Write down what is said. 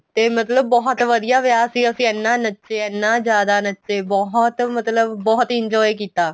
ਤੇ ਮਤਲਬ ਬਹੁਤ ਵਧੀਆ ਵਿਆਹ ਸੀ ਅਸੀਂ ਇਹਨਾ ਨੱਚੇ ਇਹਨਾ ਜਿਆਦਾ ਨੱਚੇ ਬਹੁਤ ਮਤਲਬ ਬਹੁਤ enjoy ਕੀਤਾ